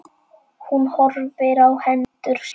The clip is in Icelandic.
Hún horfir á hendur sínar.